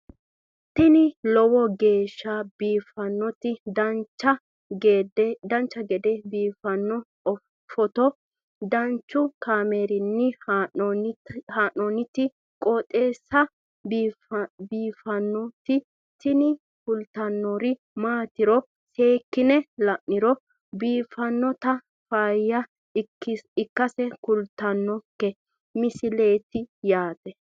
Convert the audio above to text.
tini lowo geeshsha biiffannoti dancha gede biiffanno footo danchu kaameerinni haa'noonniti qooxeessa biiffannoti tini kultannori maatiro seekkine la'niro biiffannota faayya ikkase kultannoke misileeti yaate